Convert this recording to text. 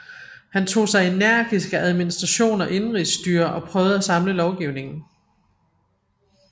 Han tog sig energisk af administration og indenrigsstyre og prøvede at samle lovgivningen